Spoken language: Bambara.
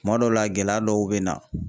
Kuma dɔw la gɛlɛya dɔw be na.